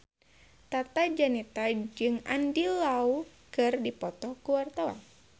Tata Janeta jeung Andy Lau keur dipoto ku wartawan